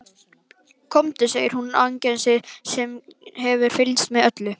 Komdu, segir hún við Agnesi sem hefur fylgst með öllu.